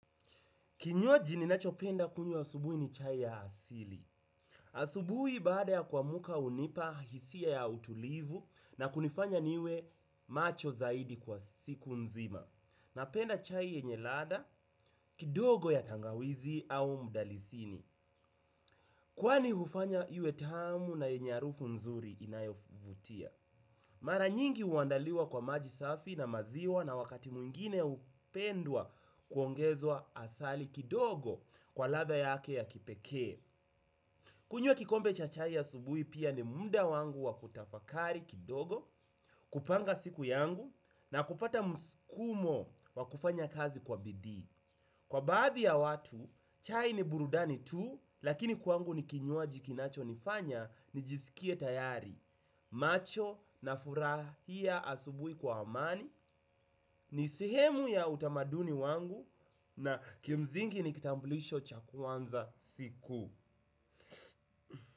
Kinywaji ninachopenda kunywa asubui ni chai ya asili. Asubui baada ya kuamuka hunipa hisia ya utulivu na kunifanya niwe macho zaidi kwa siku nzima. Napenda chai yenye ladha, kidogo ya tangawizi au mdalisini. Kwani hufanya iwe tamu na yenye arufu nzuri inayovutia. Mara nyingi uandaliwa kwa maji safi na maziwa na wakati mwingine upendwa kuongezwa asali kidogo kwa ladha yake ya kipekee. Kunywa kikombe cha chai asubui pia ni muda wangu wa kutafakari kidogo, kupanga siku yangu na kupata muskumo wa kufanya kazi kwa bidii. Kwa baadhi ya watu, chai ni burudani tu, lakini kwangu nikinywaji kinacho nifanya, nijisikie tayari, macho na furahia asubui kwa amani, ni sehemu ya utamaduni wangu, na kimzingi nikitambulisho cha kuanza siku.